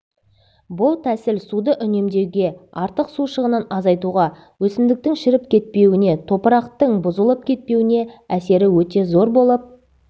бұл тәсіл суды үнемдеуге артық су шығынын азайтуға өсімдіктің шіріп кетпеуіне топырақтың бұзылып кетпеуіне әсері өте зор болып